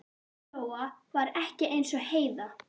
Lóa-Lóa var ekki eins og Heiða